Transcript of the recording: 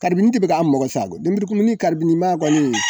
Karibini de be k'an magɔ sa koyi lemurukumuni karibini man kɔni